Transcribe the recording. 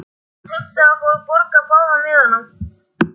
Hann heimtaði að fá að borga báða miðana.